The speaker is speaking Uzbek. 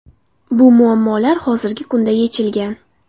Bu muammolar hozirgi kunda yechilgan.